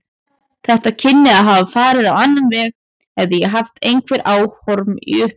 Þetta kynni að hafa farið á annan veg, hefði ég haft einhver áform í upphafi.